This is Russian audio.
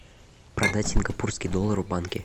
продать сингапурский доллар в банке